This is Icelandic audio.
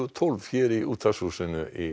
tólf í útvarpshúsinu í